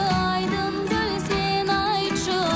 айдын көл сен айтшы